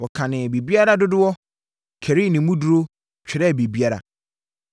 Wɔkanee biribiara dodoɔ, karii ne mu duru, twerɛɛ biribiara.